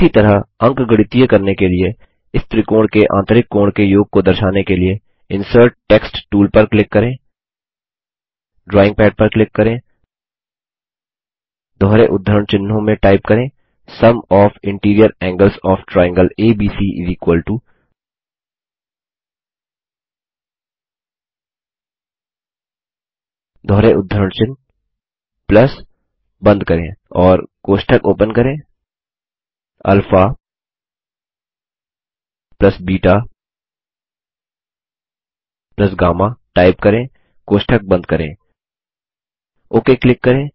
उसी तरह अंकगणितीय करने के लिए इस त्रिकोण के आंतरिक कोण के योग को दर्शाने के लिए इंसर्ट टेक्स्ट टूल पर क्लिक करें ड्रॉइंग पैड पर क्लिक करें दोहरे उद्धरण चिन्हों में टाइप करें Sum of interior angles of triangle ABC दोहरे उद्धरण चिन्ह प्लस बंद करें और कोष्ठक ओपन करें अल्फा बेटा गम्मा टाइप करें कोष्ठक बंद करें ओके क्लिक करें